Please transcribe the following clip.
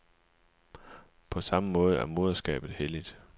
På samme måde er moderskabet helligt.